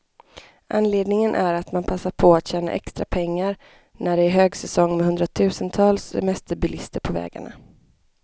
Anledningen är att man passar på att tjäna extra pengar, när det är högsäsong med hundratusentals semesterbilister på vägarna.